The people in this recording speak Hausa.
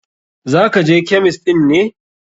Za ka je kemist ɗin ne?